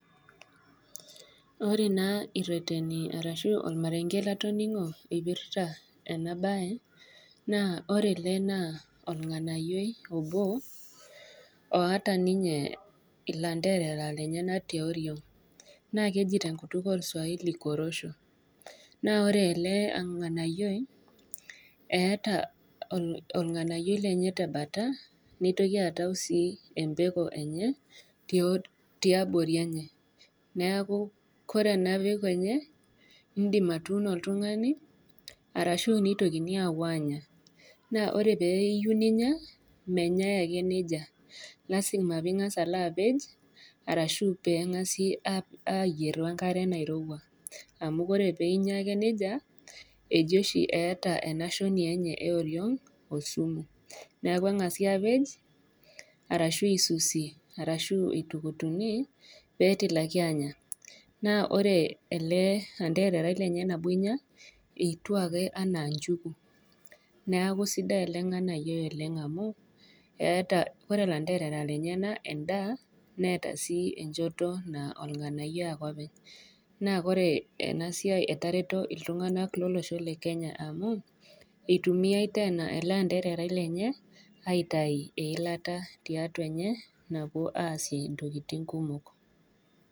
Ore naa ireteni arashu olmareng'e lotoning'o eipirta ena baye, naa ore ele naa olng'anayioi obo, oata ninye ilaanterera lenyena te oriong', naa keji te enkutuk olswahili korosho, naa ore ele ng'anayioi, eata olng'anayioi lenye te bata, neitoki aatau sii empeko enye te oriong', tiabori enye, neaku ore ena peko enye, indim atuuno oltung'ani arashu neitoki aapuo aanya, naa ore pee iyou ninya, menyai ake neija, lazima pee ilo apej, arashu pee eng'asi ayier we enkare nairouwa, amu ore pee inya ake neija, eji oshi eata ena shoni enye e oriong' osumu, neaku eng'asi aapej, arashu eisusi, arashu eitukutuni, pee etilakini aanya. Naa ore ele antererai lenye nabo inya, etiu ake anaa inchuku, neaku sidai ele ng'anayioi amu, eata, ore ilanderera lenyena endaa neata sii enchoto naa olg'anayioi ake openy. Naa orte ena siai etareto iltung'ana loloshpo le Kenya amu, eitumiyai teena ele andererai lenye aitayu eilata tiatua enye, napuoi aasie intkitin kumok.